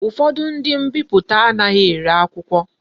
Ufodu ndi mbiputa anaghi ere akwukwo.